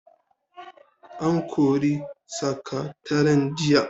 An kori sakataren jiya.